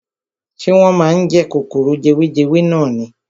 Ṣé wọ́n máa ń jẹ kòkòrò jewejewe nani.